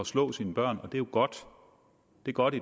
slå sine børn og det er jo godt godt